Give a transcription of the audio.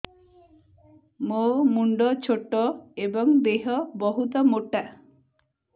ମୋ ମୁଣ୍ଡ ଛୋଟ ଏଵଂ ଦେହ ବହୁତ ମୋଟା